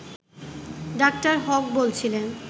ড. হক বলছিলেন